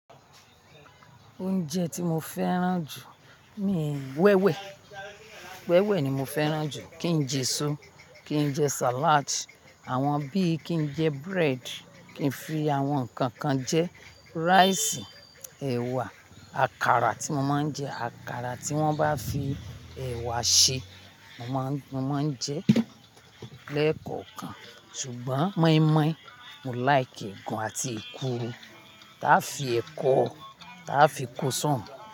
Oúnjẹ tí mo fẹ́ràn jù ni wẹ́wẹ̀. Wẹ́wẹ̀ ni mo fẹ́ràn jù, kí n jẹ èso, kí n jẹ sàládì, àwọn bí i kí n jẹ búrẹ́dì, kí n fi àwọn nnkan kan jẹ ráìsì, ẹ̀wà, àkàrà tí mo máa ń jẹ, àkàrà tí wọ́n bá fi ẹ̀wà ṣe, mo máa ń, mo máa ń jẹ lẹ́ẹ̀kọ̀kan. Ṣùgbọ́n mọ́ímọ́í, mo like gàn àti èkuru. Táa fi ẹ̀kọ, táa fi kó sọ́ùń.